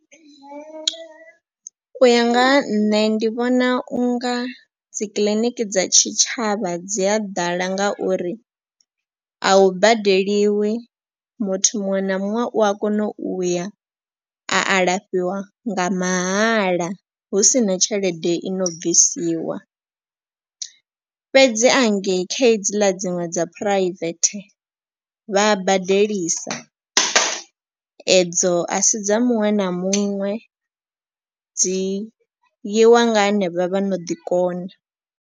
U ya nga ha nṋe ndi vhona u nga dzikiḽiniki dza tshitshavha dzi a ḓala ngauri a hu badeliwi muthu muṅwe na muṅwe u a kona u ya a alafhiwa nga mahala. Husina tshelede i no bvisiwa fhedzi hangei kha hedzila dziṅwe dza private vha badelisa edzo a sidza muṅwe na muṅwe dzi yiwa nga henevha vha no ḓi kona.